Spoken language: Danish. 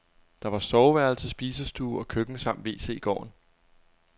Der var soveværelse, spisestue og køkken samt wc i gården.